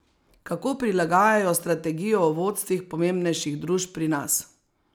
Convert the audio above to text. Kako prilagajajo strategijo v vodstvih pomembnejših družb pri nas?